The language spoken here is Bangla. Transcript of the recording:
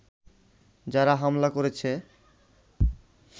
যারা হামলা করেছে